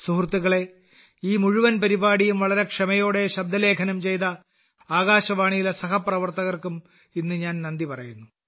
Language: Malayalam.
സുഹൃത്തുക്കളേ ഈ മുഴുവൻ പരിപാടിയും വളരെ ക്ഷമയോടെ ശബ്ദലേഖനം ചെയ്ത ആകാശവാണിയിലെ സഹപ്രവർത്തകർക്കും ഇന്ന് ഞാൻ നന്ദി പറയുന്നു